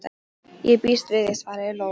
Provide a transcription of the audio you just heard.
Ég býst við því, svaraði Lóa.